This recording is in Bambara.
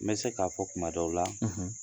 N bɛ se k'a fɔ kuma dɔw la